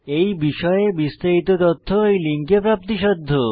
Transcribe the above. এই বিষয়ে বিস্তারিত তথ্য এই লিঙ্কে প্রাপ্তিসাধ্য